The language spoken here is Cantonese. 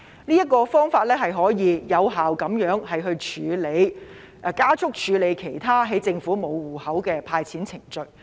這個方法可以有效加速處理政府沒有備存申領者戶口資料的其他"派錢"程序。